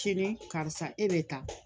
Ce ne karisa e bɛ taa